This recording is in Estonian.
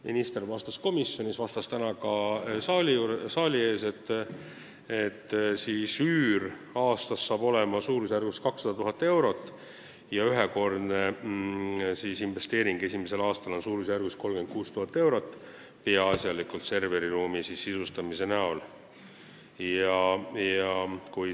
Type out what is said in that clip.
Minister vastas komisjonis ja ka täna saali ees, et üür hakkab aastas olema suurusjärgus 200 000 eurot ja ühekordne investeering esimesel aastal on suurusjärgus 36 000 eurot, peaasjalikult kulub see serveriruumi sisustamiseks.